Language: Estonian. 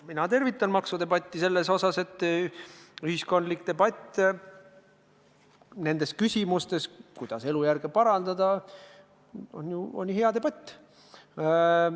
Mina tervitan maksudebatti seepärast, et ühiskondlik debatt nendes küsimustes, kuidas elujärge parandada, on ju hea debatt.